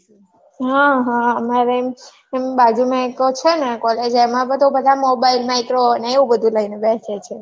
ઉહ અમારે એમ બાજુમાં છે ને college એમાં તો બધાં mobile micro ને એવું બધું લઈને બેસે છે